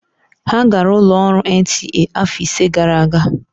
Ha gara ụlọ ọrụ NTA afọ ise gara aga.